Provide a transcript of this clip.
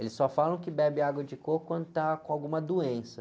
Eles só falam que bebe água de coco quando tá com alguma doença.